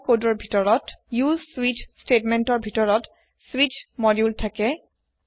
Perl কোডৰ ভিতৰত উচে স্বিচ স্টেতমেন্টৰ ভিতৰত স্বিচ মডুলে থাকে